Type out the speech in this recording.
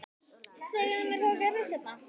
Segðu mér, hvað gerðist hérna?